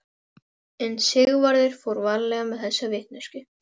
En Sigvarður fór varlega með þessa vitneskju.